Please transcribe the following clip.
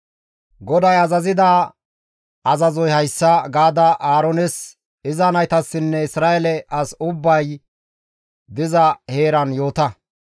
« ‹GODAY azazida azazoy hayssa› gaada Aaroones, iza naytassinne Isra7eele asi ubbay diza heeran yoota;